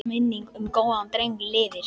Minning um góðan dreng lifir.